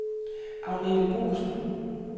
Agnethe Boesen